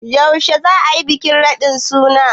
Yaushe za a yi bikin radin sunan?